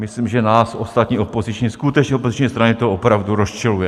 Myslím, že nás ostatní skutečně opoziční strany to opravdu rozčiluje.